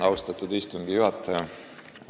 Austatud istungi juhataja!